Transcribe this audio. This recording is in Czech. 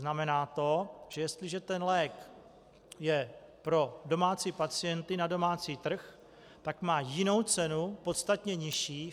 Znamená to, že jestliže ten lék je pro domácí pacienty na domácí trh, tak má jinou cenu, podstatně nižší.